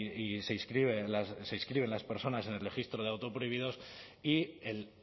y se inscriben las personas en el registro de autoprohibidos y el